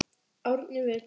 Árni Vill.